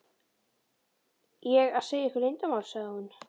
ég að segja ykkur leyndarmál? sagði hún.